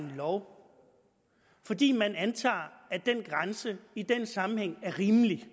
en lov fordi man antager at den grænse i den sammenhæng er rimelig